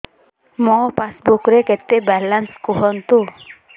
ମୋ ପାସବୁକ୍ ରେ କେତେ ବାଲାନ୍ସ କୁହନ୍ତୁ